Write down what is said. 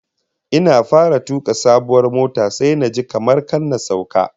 Ina fara tuka sabuwar motar sai naji kamar kar na sauka